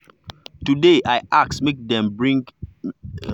today i ask make dem explain well ‘cause i don learn say to dey guess dey bring mistake.